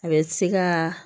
A bɛ se ka